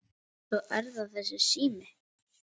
Svo er það þessi sími.